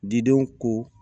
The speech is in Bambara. Didenw ko